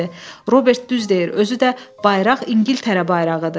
Robert düz deyir, özü də bayraq İngiltərə bayrağıdır.